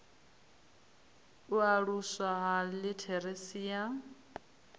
u aluswa ha litheresi ya